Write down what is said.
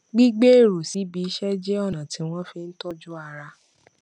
gbígbé èrò síbi iṣẹ jẹ ọnà tí wọn fi ń tọjú ara